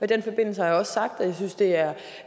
den forbindelse har jeg også sagt